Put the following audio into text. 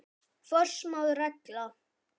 Forsmáð regla.